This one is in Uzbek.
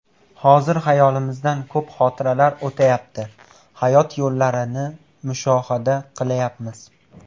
Hozir xayolimizdan ko‘p xotiralar o‘tayapti, hayot yo‘llarini mushohada qilayapmiz.